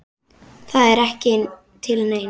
Það er ekki til neins.